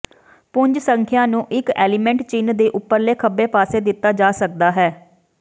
ਪੁੰਜ ਸੰਖਿਆ ਨੂੰ ਇਕ ਐਲੀਮੈਂਟ ਚਿੰਨ ਦੇ ਉਪਰਲੇ ਖੱਬੇ ਪਾਸੇ ਦਿੱਤਾ ਜਾ ਸਕਦਾ ਹੈ